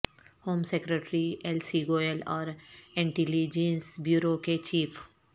home secretary L C Goel اور intelligence bureau کے chief